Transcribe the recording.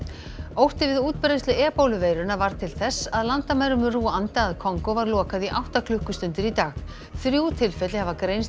ótti við útbreiðslu varð til þess að landamærum Rúanda að Kongó var lokað í átta klukkustundir í dag þrjú tilfelli hafa greinst